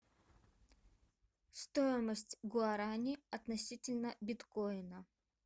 стоимость гуарани относительно биткоина